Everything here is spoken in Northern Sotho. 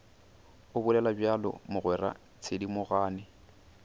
o bolela bjalo mogwera thedimogane